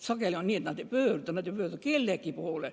Sageli on nii, et noored ei pöördu kellegi poole.